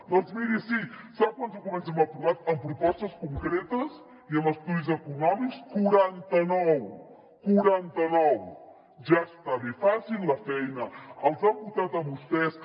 doncs miri sí sap quants documents hem aprovat amb propostes concretes i amb estudis econòmics quaranta nou quaranta nou ja està bé facin la feina els han votat a vostès